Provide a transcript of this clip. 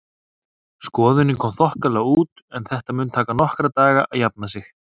Skoðunin kom þokkalega út en þetta mun taka nokkra daga að jafna sig.